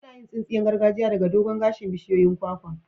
Ana yin tsinsiyan gargajiya daga dogon gashin bishiyoyin kwakwa.